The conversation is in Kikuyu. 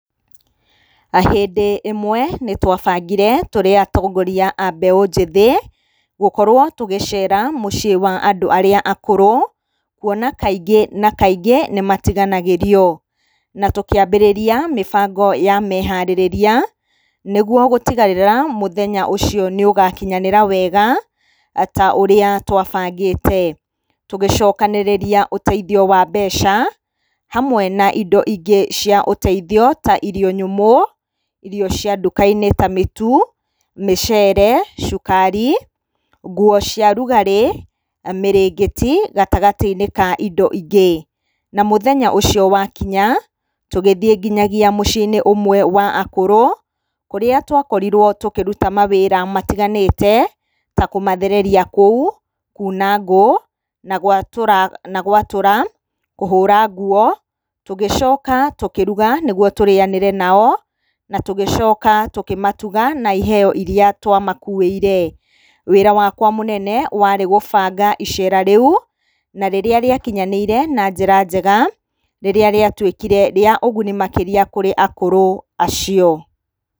Hĩndĩ ĩmwe nĩ twabangire tũrĩ atongoria a mbeũ njĩthĩ gũkorwo tũgĩcera mũciĩ wa andũ arĩa akũrũ kwona kaingĩ na kaingĩ nĩ matiganagĩrio. Na tũkĩambĩrĩria mĩbango ya meharĩrĩria nĩguo gũtigĩrĩra mũthenya ũcio nĩ ũgakinyanĩra wega ta ũrĩa twabangĩte. Tũgĩcokanĩrĩria ũteithio wa mbeca, hamwe na indo ingĩ cia ũteithio ta irio nyũmũ, irio cia nduka-inĩ ta mĩtu, mĩcere, cukari, nguo cia rugarĩ, mĩrĩngĩti, gatagatĩ-inĩ ka indo ingĩ. Na mũthenya ũcio wakinya, tũgĩthiĩ nginyagia mũciĩ-inĩ ũmwe wa akũrũ, kũrĩa twakorirwo tũkĩruta mawĩra matiganĩte, ta kũmathereria kũu kuuna ngũ na gwatũra na gwatũra, kũhũra nguo. Tũgĩcoka tũkĩruga nĩguo tũrĩanĩre nao, na tũgĩcoka tũkĩmatuga na iheo iria twamakuĩire. Wĩra wakwa mũnene warĩ gũbanga icera rĩu, na rĩrĩa rĩakinyanĩire na njĩra njega, rĩrĩa rĩatuĩkire rĩa ũguni makĩria kũrĩ akũrũ acio.